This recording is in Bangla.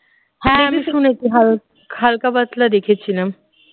হ্যাঁ আমি শুনেছি হালকা পাতলা দেখেছিলাম